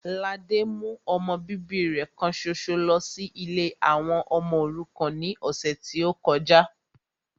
Ladé mú ọmọ bíbí rẹ kan ṣoṣo lọ sí ilé àwọn ọmọ òrukàn ní ọ̀sẹ̀ tí ó kọjá